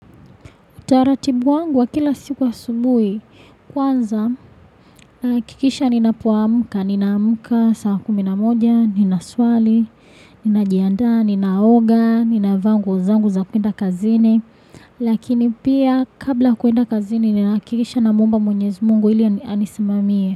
Utaratibu wangu wa kila siku asubuhi, kwanza kikisha ninapoamuka, ninaamuka saa kuminamoja, ninaswali, ninajianda, ninaoga, ninavaa nguo zangu za kwenda kazini, lakini pia kabla kuenda kazini ninakikisha na muomba mwenyezi Mungu ili anisimamie.